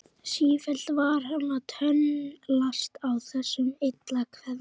Sífellt var hann að tönnlast á þessum illa kveðna brag.